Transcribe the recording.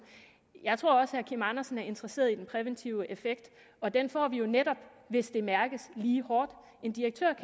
jeg tror også at herre andersen er interesseret i den præventive effekt og den får vi jo netop hvis det mærkes lige hårdt en direktør